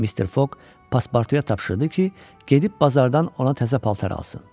Mister Foq paspartuya tapşırdı ki, gedib bazardan ona təzə paltar alsın.